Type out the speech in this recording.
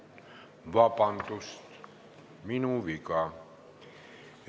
Vabandust, minu viga!